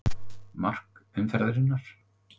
Mark umferðarinnar?